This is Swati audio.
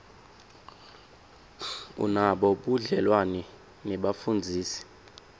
unabo budlelwane nebafundzisi